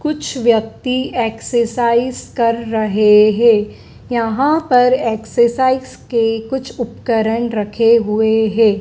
कुछ व्यक्ति एक्सरसाइज कर रहे हैं यहां पर एक्सरसाइज के कुछ उपकरण रखे हुए हैं।